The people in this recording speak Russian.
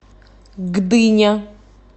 гдыня